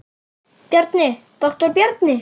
Bjarni, doktor Bjarni.